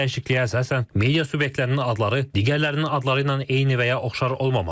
Həmçinin dəyişikliyə əsasən media subyektlərinin adları digərlərinin adları ilə eyni və ya oxşar olmamalı.